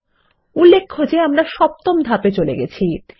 উল্লেখ্য যে আমরা সপ্তম ধাপে চলে গেছি